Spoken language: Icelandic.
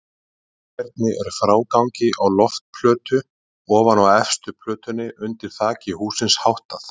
Hvernig er frágangi á loftplötu ofan á efstu plötunni undir þaki hússins háttað?